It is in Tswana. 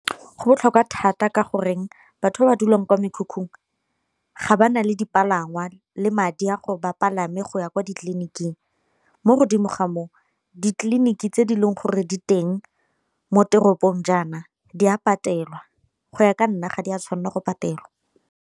Go botlhokwa thata ka goreng batho ba ba dulang kwa mekhukhung ga ba na le dipalangwa le madi a gore bapalame go ya kwa ditleliniking, mo godimo ga moo ditleliniki tse di leng gore di teng mo teropong jaana di a patelwa, go ya ka nna ga di a tshwanela go patelwa.